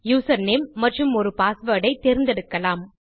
username மற்றும் ஒரு password ஐ தேர்ந்தெடுக்கலாம்